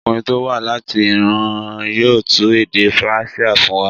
Ọkùnrin tó wá láti Iran yóò tú èdè Persia fún wa.